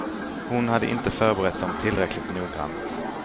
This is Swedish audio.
Hon hade inte förberett dem tillräckligt noggrant.